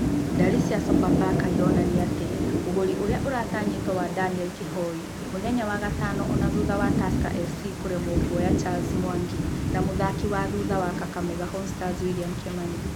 Ndari cia Sofapaka ironania atĩ ũgũri ũria ũratanywo wa Daniel Kihoi mũthenya wa gatano ona thũtha wa Tusker FC kũremwo kuoya Charles Mwangi na mũthaki wa thutha wa Kakamega Homestars William Kimani.